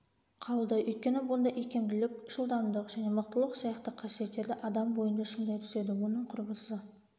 қалды өйткені бұнда икемділік жылдамдық және мықтылық сияқты қасиеттерді адам бойында шыңдай түседі оның құрбысы